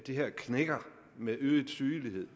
det her knækker med øget sygelighed